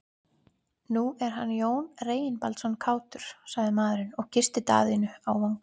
Nú er hann Jón Reginbaldsson kátur, sagði maðurinn og kyssti Daðínu á vangann.